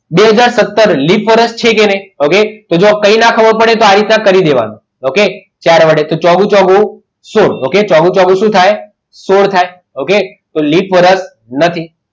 બે હાજર સત્તર લીપ વર્ષ છે કે નહીં okay એમાં કંઈ ન ખબર પડે તો આવી રીતે કરી દેવાનું ઓકે ચોગુ ચોગુ સોળ તો છોગું છોગું શું થાય સોળ થાય okay તો લીપ વરસ નથી.